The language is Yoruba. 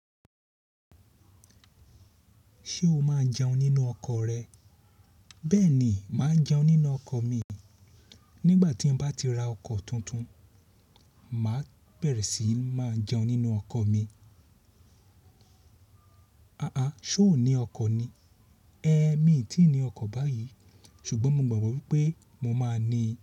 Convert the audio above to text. Ṣé o máa jẹun nínú ọkọ̀ rẹ? Bẹ́ẹ̀ ni, màá jẹun nínú ọkọ̀ mi. Nígbà tí mo bá ti ra ọkọ̀ tuntun, màá bẹ̀rẹ̀ sí máa jẹun nínú ọkọ̀ mi. Àà, ṣé o ní ọkọ̀ ni? Ẹ̀, mi ò tí ì ní ọkọ̀ báyìí, ṣùgbọ́n mo gbàgbọ́ wípé mo máa ní i.